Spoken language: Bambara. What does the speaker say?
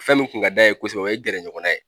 Fɛn min kun ka d'a ye kosɛbɛ o ye gɛrɛɲɔgɔnna ye